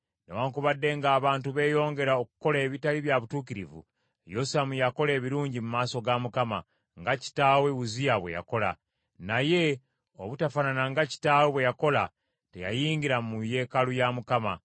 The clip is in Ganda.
Newaakubadde ng’abantu beeyongera okukola ebitali bya butuukirivu, Yosamu yakola ebirungi mu maaso ga Mukama , nga kitaawe Uzziya bwe yakola; naye obutafaanana nga kitaawe bwe yakola, teyayingira mu yeekaalu ya Mukama .